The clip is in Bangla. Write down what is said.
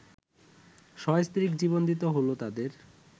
সস্ত্রীক জীবন দিতে হলো তাদের